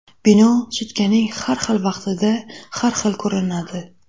Bino sutkaning har xil vaqtida har xil ko‘rinadi.